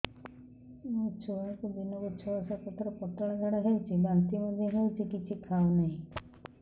ମୋ ଛୁଆକୁ ଦିନକୁ ଛ ସାତ ଥର ପତଳା ଝାଡ଼ା ହେଉଛି ବାନ୍ତି ମଧ୍ୟ ହେଉଛି କିଛି ଖାଉ ନାହିଁ